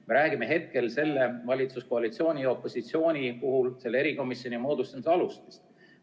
Me räägime hetkel selle valitsuskoalitsiooni ja opositsiooni puhul selle erikomisjoni moodustamise alustest.